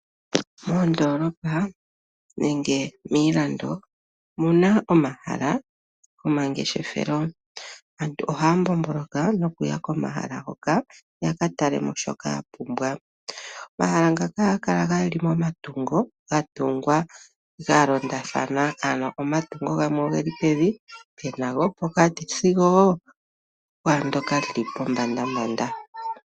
Mondoolopa nenge miilando omuna omahala gomangeshefelo. Aantu ohaya mbomboloka nokuya komahala hoka yaka talemo shoka ya pumbwa. Omahala ngaka ohaga kala geli momatungo ga tungwa ga londathana ano omatungo gamwe ogeli pevi, pena gopokati sigo woo okwaandyoka lili pombanda.